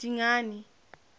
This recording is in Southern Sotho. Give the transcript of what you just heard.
dingane